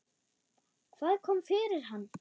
Hvað kom fyrir hann?